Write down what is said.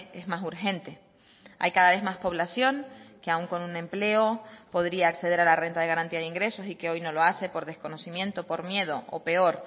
es más urgente hay cada vez más población que aún con un empleo podría acceder a la renta de garantía de ingresos y que hoy no lo hace por desconocimiento por miedo o peor